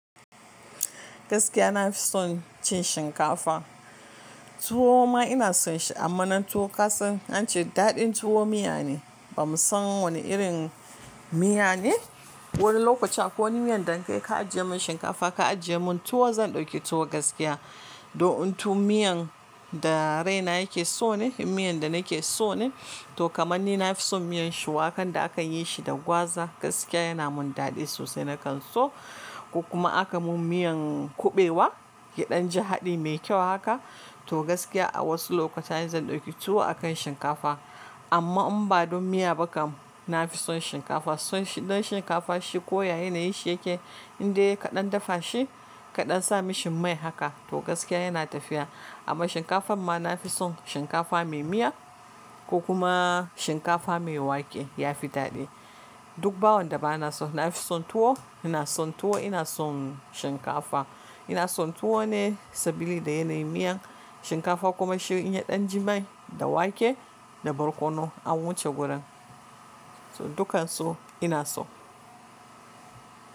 Gaskiya na fi son cin shinkafa. Tuwo ma ina son shi amma nan to ka san an ce daɗin tuwo miya ne bamu san wane irin miya ne. Wani lokaci akwai miyan da in aka ajiye mun shinkafa ka ajiye mun tuwo zan ɗauki tuwo gaskiya. To in tuwo miyan da raina yake so ne, miyan da nake so ne to kamar ni na fi son miyan shuwakan da aka yi shi da gwaza gaskiya yana mun daɗi sosai na kan so. Ko kuma aka mun miyan kuɓewa ya ɗan ji haɗi mai kyau haka to gaskiya a wasu lokutan zan ɗauki tuwo a kan shinkafa. Amma in ba don miya ba kam na fi son shinkafa. Son shi don shinkafa shi ko ya yanayinshi yake indai ka ɗan dafa shi ka ɗan sa mishi mai haka to gaskiya yana tafiya. Amma shinkafan ma na fi son shinkafa mai miya ko kuma shinkafa mai wake, ya fi daɗi. Duk bawon da ba na so. Na fi son tuwo, ina son tuwo, ina son shinkafa. Ina son tuwo ne sabida yana yi miya, shinkafa kuma shi in ya ɗan ji mai da wake da barkono an wuce gurin. To dukkansu ina so.